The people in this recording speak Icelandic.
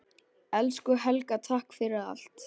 Elsku Helga, takk fyrir allt.